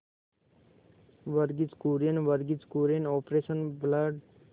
Verghese Kurien Verghese Kurien operation blood